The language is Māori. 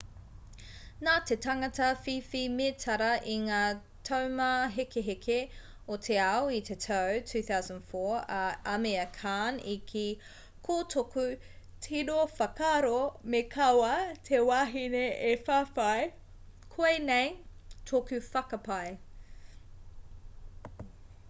nā te tangata whiwhi mētara i ngā taumāhekeheke o te ao i te tau 2004 a amir khan i kī ko tōku tino whakaaro me kaua te wahine e whawhai koinei tōku whakapae